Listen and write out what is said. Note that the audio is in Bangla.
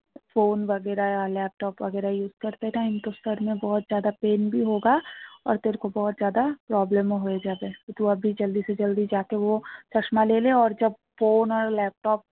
phone laptop use time pain problem হয়ে যাবে phone laptop